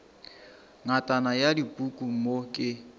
ngatana ya dipuku mo ke